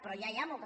però ja hi ha moltes